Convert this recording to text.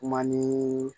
Kuma ni